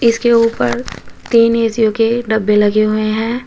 इसके ऊपर तीन एसियों के डब्बे लगे हुए हैं।